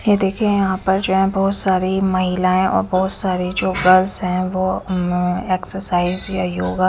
ये देखिए यहां पर जो है बहोत सारी महिलाएं और बहोत सारी जो गर्ल्स है वो अ एक्सरसाइज या योगा--